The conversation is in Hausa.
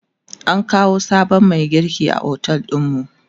an kawo sabon Mai girki a otel ɗinmu